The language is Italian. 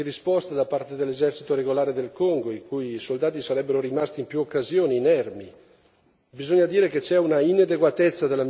Bisogna dire che c'è una insufficienza di risposte da parte dell'esercito regolare del Congo, in cui i soldati sarebbero rimasti in più occasioni inermi.